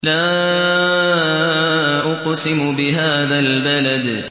لَا أُقْسِمُ بِهَٰذَا الْبَلَدِ